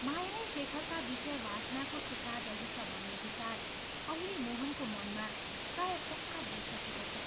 माया नै शेखरका विषय वासनाको शिकार रहिछ भन्ने विचार अहिले मोहनको मनमा प्रायः पक्का भइसकेको छ।